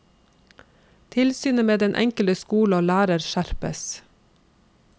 Tilsynet med den enkelte skole og lærer skjerpes.